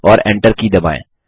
और Enter की दबाएँ